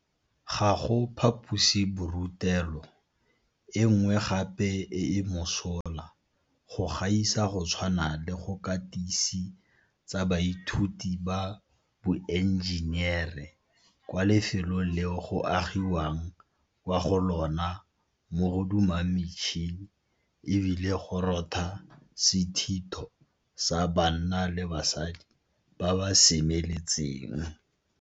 Ga go phaposiborutelo e nngwe gape e e mosola go gaisa go tshwana le go katise tsa baithuti ba boenjenere kwa lefelong leo go agi wang kwa go lona mo go dumang metšhini e bile go rotha sethitho sa banna le basadi ba ba semeletseng.